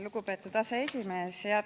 Lugupeetud aseesimees!